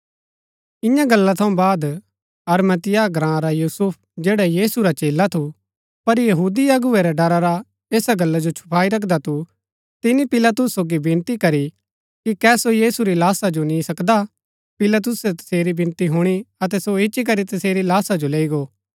ईयां गल्ला थऊँ बाद अरमतियाह ग्राँ रा यूसुफ जैडा यीशु मसीह रा चेला थू पर यहूदी अगुवै रै डरा रा ऐसा गल्ला जो छुपाई रखदा थू तिनी पिलातुस सोगी विनती करी कि कै सो यीशु री लाशा जो नी सकदा हा पिलातुसै तसेरी विनती हुणी अतै सो इच्ची करी तसेरी लाशा जो लैई गो